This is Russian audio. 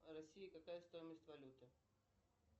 в россии какая стоимость валюты